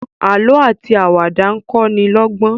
àlọ ati Àwàdà nkọ ní lógbón.